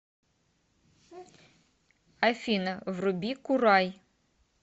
афина вруби курай